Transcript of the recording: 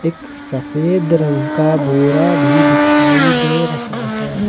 सफेद रंग का बोरा भी दिखाई दे रहा है।